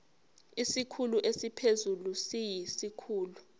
isikhulu esiphezulu siyisikhulu